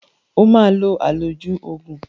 O máa lo àlòjù oògùn